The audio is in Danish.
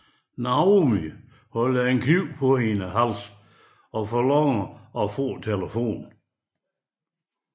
Naomi holder en kniv for hendes hals og kræver at få telefonen